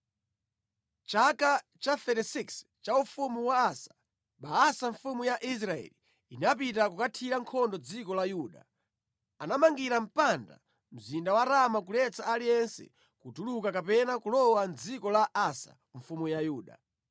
Mʼchaka cha 36 cha ufumu wa Asa, Baasa mfumu ya Israeli inapita kukathira nkhondo dziko la Yuda. Anamangira mpanda mzinda wa Rama kuletsa aliyense kutuluka kapena kulowa mʼdziko la Asa mfumu ya Yuda.